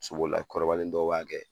Sobolila kɔrɔbalen dɔw b'a kɛ.